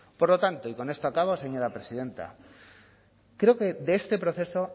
por lo tanto y con esto acabo señora presidenta creo que de este proceso